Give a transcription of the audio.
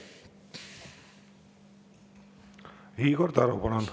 Igor Taro, palun!